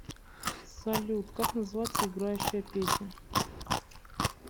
салют как называется играющая песня